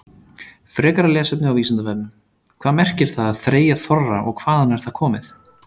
Frekara lesefni á Vísindavefnum: Hvað merkir það að þreyja þorra og hvaðan er það komið?